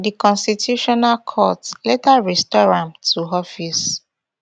di constitutional court later restore am to office